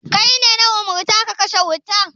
Kai ne na umurta ka kashe wuta.